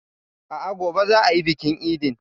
A'a, gobe za a yi bikin idin.